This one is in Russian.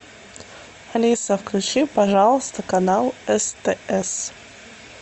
алиса включи пожалуйста канал стс